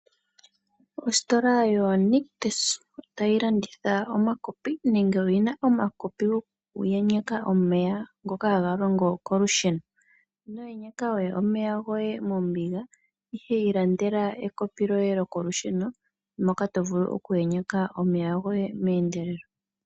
Ositola yo Nictus oyina omakopi nenge otayi landitha omakopi gokuyenyeka omeya ngoka haga longo kolusheno. Ino yenyeka we omeya goye mombiga ihe iilandela ekopi lyoye lyokolusheno moka to vulu oku yenyeka omeya goye meendelelo.